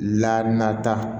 La nata